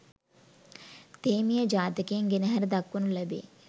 තේමීය ජාතකයෙන් ගෙනහැර දක්වනු ලැබේ.